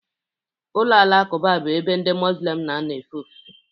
Ụlọ alakụba bụ ebe ndị Mozulem na-anọ efe ofufe.